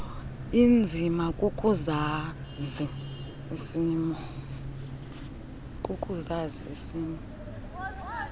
inzima kukuzazi isimo